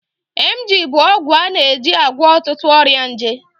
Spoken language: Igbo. Emgyl bụ ọgwụ a na-eji agwọ ọtụtụ ọrịa nje.